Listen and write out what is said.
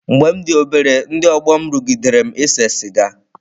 Mgbe m dị obere, ndị ọgbọ m rụgidere m ise siga.